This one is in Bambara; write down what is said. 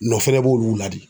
Nɔ fɛnɛ b'olu la de